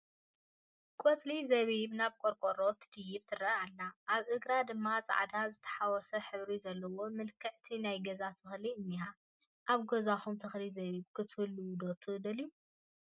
ቆፅሊ ዘቢብ ናብ ቆርቆሮ ትድይብ ትረአ ኣላ፡፡ ኣብ እግራ ድማ ፃዕዳ ዝተሓወሰ ሕብሪ ዘለዋ ምልክዕቲ ናይ ገዛ ተኽሊ እኒሃ፡፡ ኣብ ገዛኹም ተኽሊ ዘቢብ ክትተኽሉ ዶ ትደልዩ?